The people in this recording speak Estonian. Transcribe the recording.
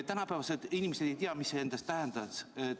Tänapäeva inimesed ei tea, mida see endast tähendab.